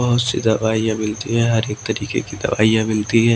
बहुत सी दवाइयां मिलती है हर एक तरीके की दवाइयां मिलती हैं।